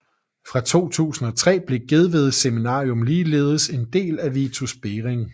Fra 2003 blev Gedved Seminarium ligeledes en del af Vitus Bering